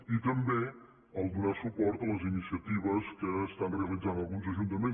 i també donar suport a les iniciatives que estan realitzant alguns ajuntaments